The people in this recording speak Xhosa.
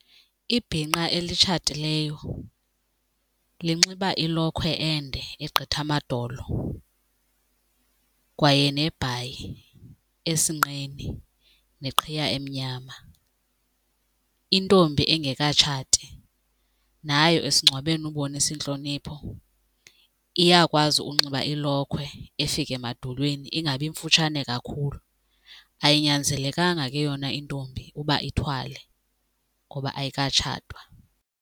Ibhinqa elitshatileyo linxiba ilokhwe ende egqitha amadolo kwaye nebhayi esinqeni neqhiya emnyama. Intombi engekatshati nayo esingcwabeni ukubonisa intlonipho iyakwazi unxiba ilokhwe efika emadolweni ingabi mfutshane kakhulu, ayinyanzelekanga ke yona intombi uba ithwale ngoba ayikatshatwa.